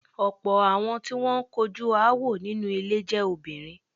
Ọ̀pọ̀ àwọn tí wọ́n ń kojú aáwọ̀ inú ilé jẹ́ obìrin.